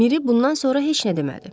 Miri bundan sonra heç nə demədi.